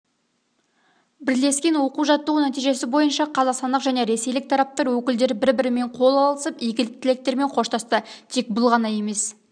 бірлескен оқу-жаттығу нәтижесі бойынша қазақстандық және ресейлік тараптар өкілдері бір-бірімен қол алысып игі тілектермен қоштасты тек бұл ғана емес